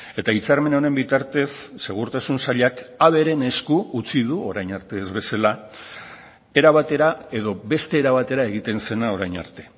eta hitzarmen honen bitartez segurtasun sailak haberen esku utzi du orain arte ez bezala era batera edo beste era batera egiten zena orain arte